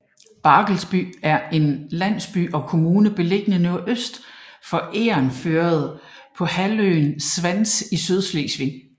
Barkelsby er en landsby og kommune beliggende nordøst for Egernførde på halvøen Svans i Sydslesvig